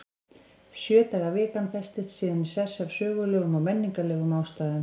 Sjö daga vikan festist síðan í sessi af sögulegum og menningarlegum ástæðum.